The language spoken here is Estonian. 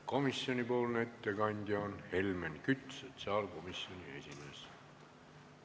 Komisjoni ettekandja on Helmen Kütt, sotsiaalkomisjoni esimees.